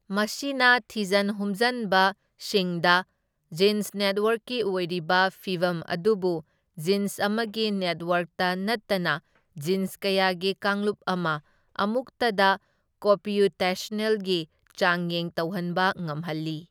ꯃꯁꯤꯅ ꯊꯤꯖꯟ ꯍꯨꯝꯖꯟꯕꯁꯤꯡꯗ ꯖꯤꯟꯁ ꯅꯦꯠꯋꯥꯔꯛꯀꯤ ꯑꯣꯏꯔꯤꯕ ꯐꯤꯚꯝ ꯑꯗꯨꯕꯨ ꯖꯤꯟꯁ ꯑꯃꯒꯤ ꯅꯦꯠꯋꯥꯔꯛꯇ ꯅꯠꯇꯅ ꯖꯤꯟꯁ ꯀꯌꯥꯒꯤ ꯀꯥꯡꯂꯨꯞ ꯑꯃ ꯑꯃꯨꯛꯇꯗ ꯀꯣꯝꯄꯤꯌꯨꯇꯦꯁꯟꯅꯦꯜꯂꯤ ꯆꯥꯡꯌꯦꯡ ꯇꯧꯍꯟꯕ ꯉꯝꯍꯜꯂꯤ꯫